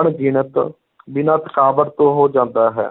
ਅਣਗਿਣਤ ਬਿਨਾਂ ਥਕਾਵਟ ਤੋਂ ਹੋ ਜਾਂਦਾ ਹੈ,